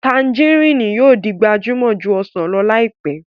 Tanjarínnì yóò di gbajúmọ̀ ju ọsàn lọ láìpẹ́